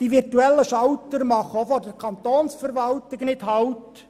Die virtuellen Schalter machen auch vor der Kantonsverwaltung nicht halt.